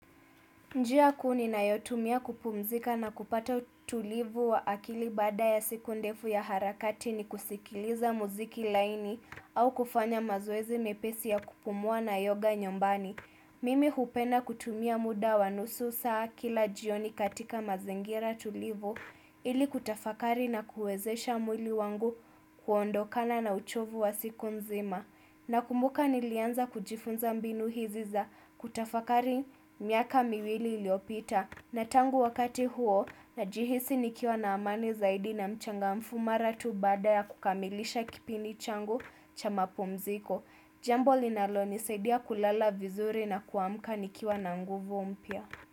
Njia kuu ninayotumia kupumzika na kupata utulivu wa akili baada ya siku ndefu ya harakati ni kusikiliza muziki laini au kufanya mazoezi mepesi ya kupumua na yoga nyumbani. Mimi hupenda kutumia muda wa nusu saa kila jioni katika mazingira tulivu ili kutafakari na kuwezesha mwili wangu kuondokana na uchovu wa siku nzima. Nakumbuka nilianza kujifunza mbinu hizi za kutafakari miaka miwili iliyopita. Na tangu wakati huo, najihisi nikiwa na amani zaidi na mchangamfu mara tu baada ya kukamilisha kipindi changu cha mapumziko. Jambo linalonisaidia kulala vizuri na kuamka nikia na nguvu mpya.